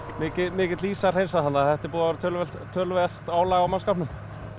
mikill ís að hreinsa þannig að þetta er búið að vera töluvert töluvert álag á mannskapnum